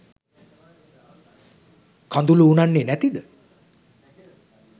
කඳුළු උනන්නේ නැතිද?